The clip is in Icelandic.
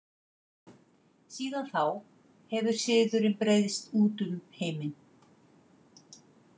Síðan þá hefur siðurinn breiðst út um heiminn.